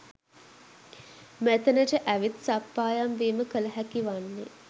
මෙතැනට ඇවිත් සප්පායම් වීම කළ හැකි වන්නේ